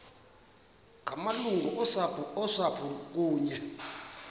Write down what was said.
ngamalungu osapho kunye